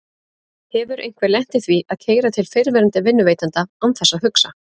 Hefur einhver lent í því að keyra til fyrrverandi vinnuveitanda án þess að hugsa?